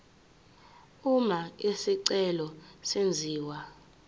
uma isicelo senziwa